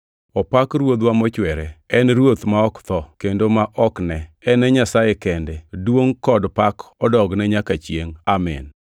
Opak Ruodhwa mochwere! En Ruoth ma ok tho, kendo ma ok ne. En e Nyasaye kende. Duongʼ kod pak odogne nyaka chiengʼ. Amin.